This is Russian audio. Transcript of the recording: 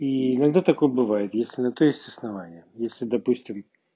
и иногда такое бывает если на то есть основания если допустим